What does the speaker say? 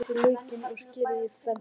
Flysjið laukinn og skerið í fernt.